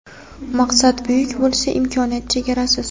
Maqsad buyuk bo‘lsa, imkoniyat chegarasiz.